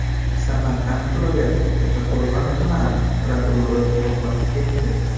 Samarqand viloyati Kattaqo‘rg‘on tumani prokurori vafot etdi.